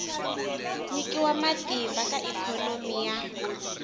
nyikiwa matimba ka ikhonomi ya